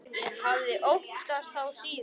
Ég hafði óttast þá síðan.